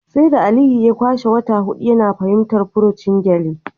Sai da Aliyu ya kwashe wata hudu yana fahimtar furucin gyale